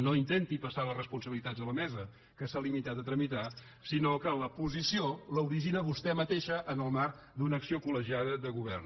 no intenti passar les responsabilitats a la mesa que s’ha limitat a tramitar sinó que la posició l’origina vostè mateixa en el marc d’una acció collegiada de govern